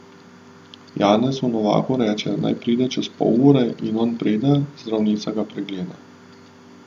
Janezu Novaku reče, naj pride čez pol ure, in on pride, zdravnica ga pregleda.